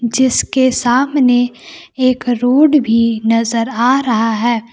जिसके सामने एक रोड भी नजर आ रहा है।